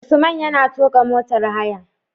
Usman yana tuƙa motar haya